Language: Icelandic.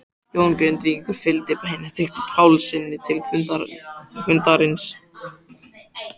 Jón Grindvíkingur fylgdi Benedikt Pálssyni til fundarins.